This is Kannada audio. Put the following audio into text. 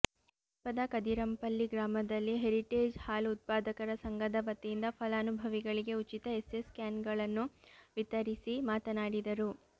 ಸಮೀಪದ ಕದಿರಂಪಲ್ಲಿ ಗ್ರಾಮದಲ್ಲಿ ಹೇರಿಟೇಜ್ ಹಾಲು ಉತ್ಪಾದಕರ ಸಂಘದವತಿಯಿಂದ ಫಲಾನುಭವಿಗಳಿಗೆ ಉಚಿತ ಎಸ್ಎಸ್ ಕ್ಯಾನ್ಗಳನ್ನು ವಿತರಿಸಿ ಮಾತನಾಡಿದರು